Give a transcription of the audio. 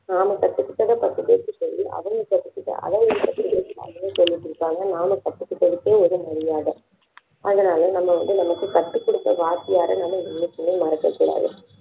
நாம கத்துக்கிட்டதை பத்து பேருக்கு சொல்லி அவங்க கத்துக்கிட்டு அதை பத்து பேருக்கு சொல்லிக் கொடுப்பாங்க நம்ம கத்துக்கிட்டதுக்கு ஒரு மரியாதை அதனால நம்ம வந்து நமக்கு கத்துக் கொடுத்த வாத்தியாரை நாம என்னைக்குமே மறக்கக்கூடாது